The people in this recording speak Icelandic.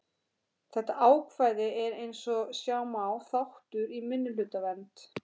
Þetta ákvæði er eins og sjá má þáttur í minnihlutavernd.